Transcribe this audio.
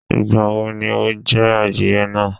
Ìgbà wo ni o je adìye náa?